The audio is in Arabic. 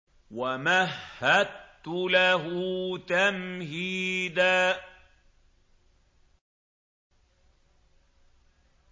وَمَهَّدتُّ لَهُ تَمْهِيدًا